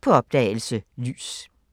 På opdagelse – Lys *